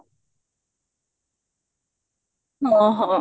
ହଁ ହଁ